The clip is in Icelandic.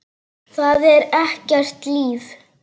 Það er ekkert líf.